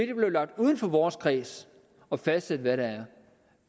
det blev lagt uden for vores kreds at fastsætte